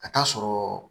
Ka taa sɔrɔ